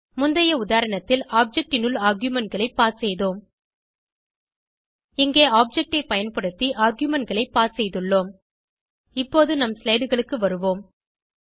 முந்தைய உதாரணத்தில் ஆப்ஜெக்ட் னுள் argumentகளை பாஸ் செய்தோம் இங்கே ஆப்ஜெக்ட் ஐ பயன்படுத்தி ஆர்குமென்ட் களை பாஸ் செய்துள்ளோம் இப்போது நம் slideகளுக்கு வருவோம்